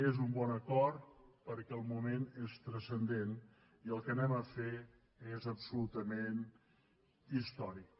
és un bon acord perquè el moment és transcendent i el que anem a fer és absolutament històric